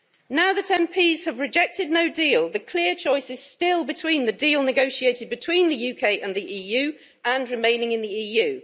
Now that MPs have rejected no deal, the clear choice is still between the deal negotiated between the UK and the EU, and remaining in the EU.